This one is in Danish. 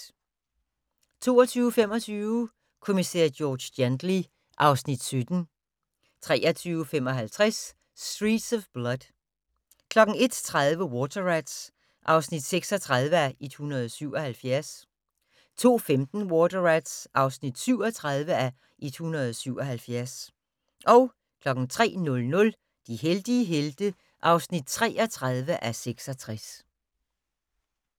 22:25: Kommissær George Gently (Afs. 17) 23:55: Streets of Blood 01:30: Water Rats (36:177) 02:15: Water Rats (37:177) 03:00: De heldige helte (33:66)